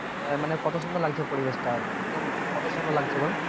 আহ মানে কত সুন্দর লাগছে পরিবেশটা একদম কত সুন্দর লাগছে বল?